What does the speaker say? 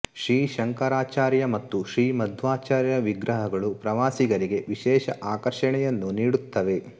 ಶ್ರೀ ಶಂಕರಾಚಾರ್ಯ ಮತ್ತು ಶ್ರೀ ಮಧ್ವಾಚಾರ್ಯರ ವಿಗ್ರಹಗಳು ಪ್ರವಾಸಿಗರಿಗೆ ವಿಶೇಷ ಆಕರ್ಷಣೆಯನ್ನು ನೀಡುತ್ತವೆ